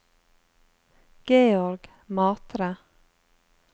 Georg Matre